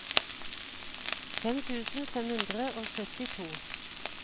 fem tusen fem hundre og syttito